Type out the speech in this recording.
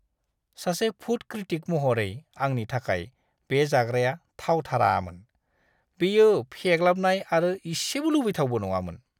सासे food critic महरै आंनि थाखाय, बे जाग्राया थावथारामोन! बेयो फेग्लाबनाय आरो इसेबो लुबैथावबो नङामोन!